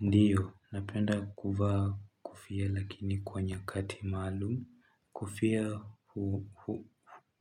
Ndio napenda kuvaa kofia lakini kwa nyakati maalumu kofia huo